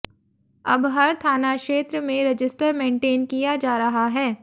अब हर थाना क्षेत्र में रजिस्टर मेंटेन किया जा रहा है